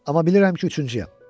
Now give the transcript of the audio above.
Amma bilirəm ki, üçüncüyəm.